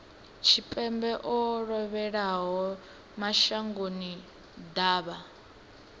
tshipembe o lovhelaho mashango ḓavha